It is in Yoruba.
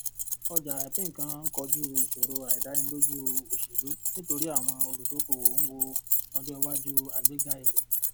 ọjà ìpínńkàn kọjú ìṣòro àìdánilójú òṣèlú nítorí àwọn olùdókòwò ń wo ọjọ iwájú àgbéga èrè